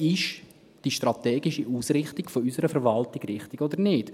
Ist die strategische Ausrichtung unserer Verwaltung richtig oder nicht?